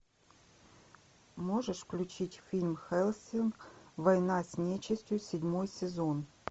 можешь включить фильм хеллсинг война с нечистью седьмой сезон